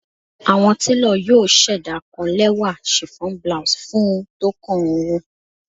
Awọn telo yoo ṣẹda kan lẹwa chiffon blouse fun u tókàn ooru